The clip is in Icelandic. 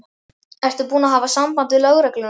Ertu búin að hafa samband við lögregluna?